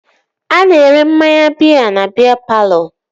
A na-ere mmanya biya na biya palọ